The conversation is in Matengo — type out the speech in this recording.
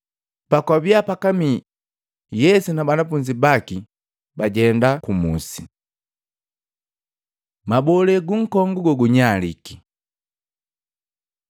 Pakwabia pakamii, Yesu na banafunzi baki bajenda kumusi. Mabolee gunkongu gogunyalike Matei 21:20-22